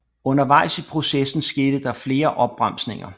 Undervejs i processen skete der flere opbremsninger